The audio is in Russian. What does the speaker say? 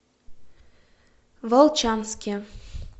волчанске